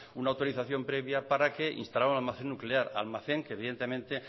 una autorización previa para que instalara un almacén nuclear almacén que evidentemente